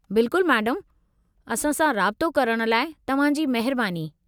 बिल्कुलु मैडम, असां सां राबितो करणु लाइ तव्हां जी महिरबानी।